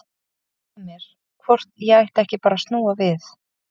Það hvarflaði að mér hvort ég ætti ekki bara að snúa við.